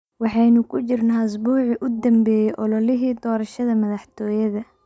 Waxaynu ku jirnaa usbuucii u dambeeyay ololihii doorashada madaxtooyada.